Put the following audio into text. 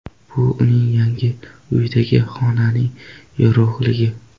Bu uning yangi uyidagi xonaning yorug‘ligi”.